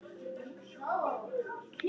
Viku síðar var hún öll.